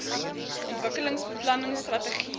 ontwikkelingsbeplanningstrategiese